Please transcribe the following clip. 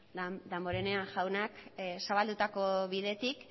damborenea jaunak zabaldutako bidetik